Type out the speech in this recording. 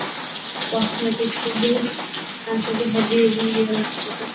cosmatic ସବୁ ଆଣିଛନ୍ତି heavy heavy ଇଏରେ ଆଣିଛନ୍ତି